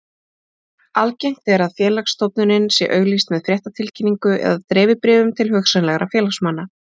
Algengt er félagsstofnunin sé auglýst með fréttatilkynningu eða dreifibréfum til hugsanlegra félagsmanna.